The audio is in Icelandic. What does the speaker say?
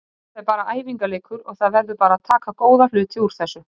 Þetta er bara æfingarleikur og það verður bara að taka góða hluti úr þessu.